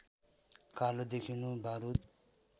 कालो देखिनु बारुद